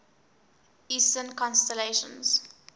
eastern constellations